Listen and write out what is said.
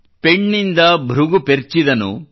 ಪೆಣ್ಣಿಂದ ಭೃಗು ಪೆರ್ಚಿದನು